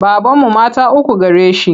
Babanmu mata uku gare shi.